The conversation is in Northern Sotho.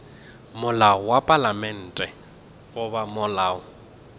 molao wa palamente goba molao